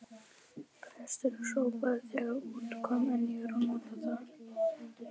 Presturinn hrópaði þegar út kom: En ég er að norðan!